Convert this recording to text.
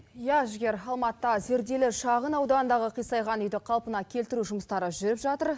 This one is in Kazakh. иә жігер алматыда зерделі шағын ауданындағы қисайған үйді қалпына келтіру жұмыстары жүріп жатыр